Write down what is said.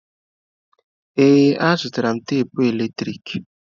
Ee, azụtara m tapụ eletrik.